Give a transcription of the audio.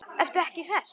Ertu ekki hress?